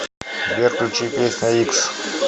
сбер включи песня икс